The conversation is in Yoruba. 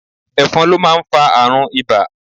Ẹ̀fọn ló máa ń fa àrùn ibà